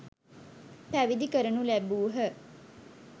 පැවිදි කරනු ලැබූහ.